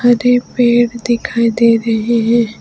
आधे पेड़ दिखाई दे रहे है।